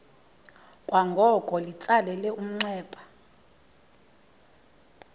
kwangoko litsalele umnxeba